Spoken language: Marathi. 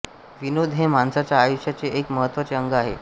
विनोद हे माणसाच्या आयुष्याचे एक महत्त्वाचे अंग आहे